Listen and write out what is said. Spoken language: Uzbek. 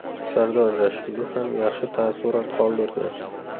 Sardor Rashidov ham yaxshi taassurot qoldirdi.